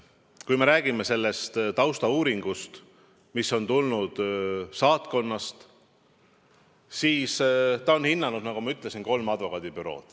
Kui me räägime sellest taustauuringust, mis on tulnud saatkonnast, siis nad on hinnanud, nagu ma ütlesin, kolme advokaadibürood.